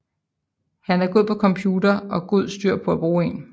Han er god på en computer og god styr på at bruge én